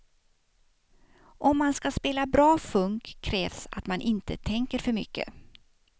Om man ska spela bra funk krävs att man inte tänker för mycket.